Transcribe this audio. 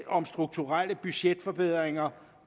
om strukturelle budgetforbedringer